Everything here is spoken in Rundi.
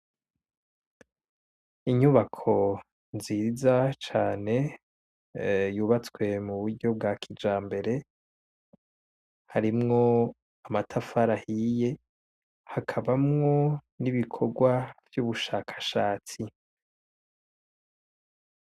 Inyubako nziza cane, yubatswe muburyo bwa kijambere, harimwo amatafari ahiye, hakabamwo n'ibikorwa vy'ubushakashatsi.